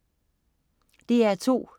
DR2: